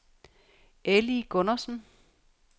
Elly Gundersen